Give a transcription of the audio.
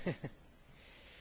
Herr Präsident!